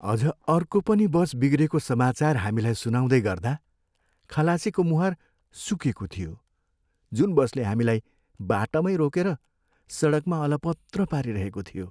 अझ अर्को पनि बस बिग्रेको समाचार हामीलाई सुनाउँदै गर्दा खलासीको मुहार सुकेको थियो, जुन बसले हामीलाई बाटैमा रोकेर सडकमा अलपत्र पारिरहेको थियो।